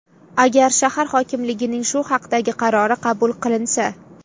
Agar shahar hokimligining shu haqdagi qarori qabul qilinsa.